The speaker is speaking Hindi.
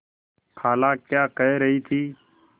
खाला क्या कह रही थी